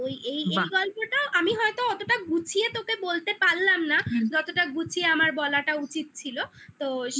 তো এই বাহ এই গল্পটাও আমি হয়তো অতটা গুছিয়ে তোকে বলতে পারলাম না হুম যতটা গুছিয়ে আমার বলাটা উচিত ছিল তো